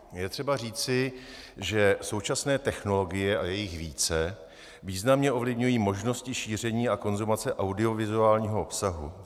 Je třeba říci, že současné technologie, a je jich více, významně ovlivňují možnosti šíření a konzumace audiovizuálního obsahu.